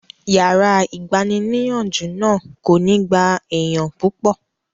Yàrá ìgbaniníyànjú náà kò ní gba èèyàn púpọ̀